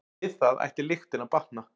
Við það ætti lyktin að batna.